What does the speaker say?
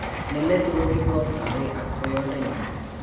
Neletu kokikibwakaktege ak boyodenyun